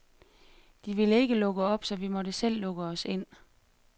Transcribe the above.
De ville ikke lukke op, så vi måtte selv lukke os ind.